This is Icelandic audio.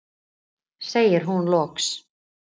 segir hún loks.